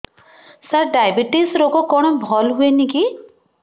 ସାର diabetes ରୋଗ କଣ ଭଲ ହୁଏନି କି